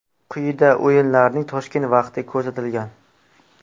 Quyida o‘yinlarning Toshkent vaqti ko‘rsatilgan.